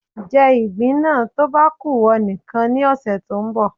Jẹ ìgbín náà tó bá ku ìwọ nìkan ní ọ̀sẹ̀ tó ń bọ̀